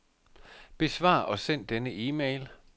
Besvar og send denne e-mail.